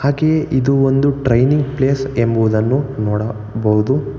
ಹಾಗೆ ಇದು ಒಂದು ಟ್ರೈನಿಂಗ್ ಪ್ಲೇಸ್ ಎಂಬುವುದನ್ನು ನೋಡ ಬಹುದು.